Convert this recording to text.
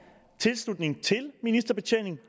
tilslutningen til ministerbetjeningen